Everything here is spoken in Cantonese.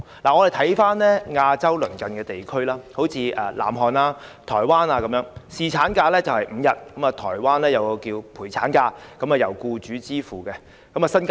讓我們看看亞洲鄰近地區的情況，例如南韓及台灣的侍產假是5天，台灣稱為陪產假，是由僱主支付的。